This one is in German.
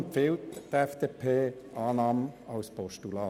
Die FDP empfiehlt die Annahme als Postulat.